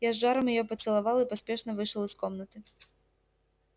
я с жаром её поцеловал и поспешно вышел из комнаты